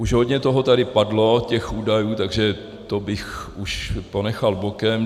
Už hodně toho tady padlo, těch údajů, takže to bych už ponechal bokem.